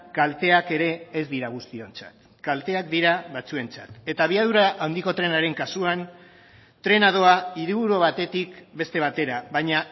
kalteak ere ez dira guztiontzat kalteak dira batzuentzat eta abiadura handiko trenaren kasuan trena doa hiriburu batetik beste batera baina